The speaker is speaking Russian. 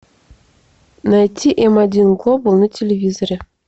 найти м один глобал на телевизоре